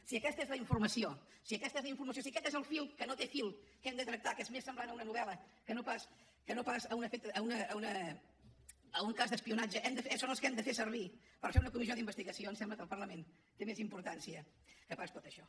si aquesta és la informació si aquest és el fil que no té fil que hem de tractar que és més semblant a una novel·la que no pas a un cas d’espionatge són els que hem de fer servir per fer una comissió d’investigació em sembla que el parlament té més importància que no pas tot això